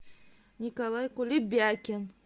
николай кулебякин